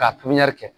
K'a pipiniyɛri